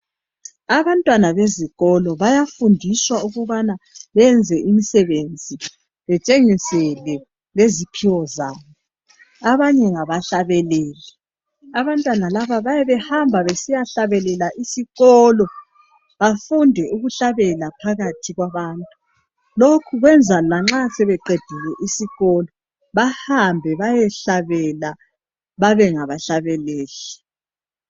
Abantwana bezikolo bayafundiswa ukubana benze imsebenzi betshengisele leziphiwo zabo .Abanye ngaba hlabeleli .Abantwana laba bayabe behamba besiya hlabelela isikolo bafunde ukuhlabela phakathi kwabantu .Lokhu kwenza lanxa sebeqedile isikolo bahambe bayehlabela babe ngaba hlabeleli.